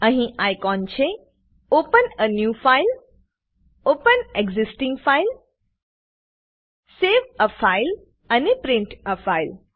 અહી આઇકોન છે open a new file open existing file save a file અને print a file